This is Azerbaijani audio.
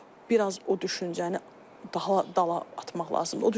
Onu biraz o düşüncəni dala atmaq lazımdır.